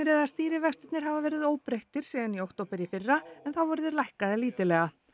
eða stýrivextirnir hafa verið óbreyttir síðan í október í fyrra en þá voru þeir lækkaðir lítillega